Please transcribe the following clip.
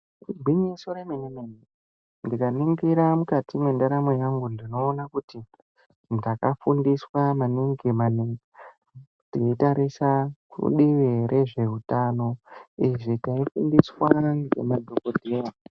Igwinyiso remene remene ndikaringira mukati mentaramo hwangu ndinoona kuti ndakafundiswa maningi ningi, ndinotarisa kudivi rezvehutano izvo taifundiswa ngemadhokodheya.